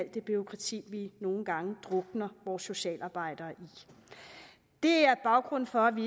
det bureaukrati vi nogle gange drukner vores socialarbejdere i det er baggrunden for at vi